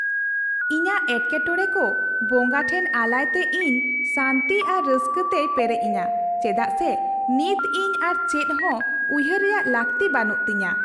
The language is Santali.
ᱤᱧᱟᱹᱜ ᱮᱴᱠᱮᱴᱚᱲᱮ ᱠᱚ ᱵᱚᱸᱜᱟ ᱴᱷᱮᱱ ᱟᱞᱟᱭᱛᱮ ᱤᱧ ᱥᱟᱱᱛᱤ ᱟᱨ ᱨᱟᱹᱥᱠᱟᱹ ᱛᱮᱭ ᱯᱮᱨᱮᱡᱤᱧᱟ ᱪᱮᱫᱟᱜ ᱥᱮ ᱱᱤᱛ ᱤᱧ ᱟᱨ ᱪᱮᱫᱦᱚᱸ ᱩᱭᱦᱟᱹᱨ ᱨᱮᱭᱟᱜ ᱞᱟᱹᱠᱛᱤ ᱵᱟᱹᱱᱩᱜ ᱛᱤᱧᱟᱹ ᱾